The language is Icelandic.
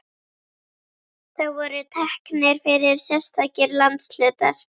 Þá voru teknir fyrir sérstakir landshlutar.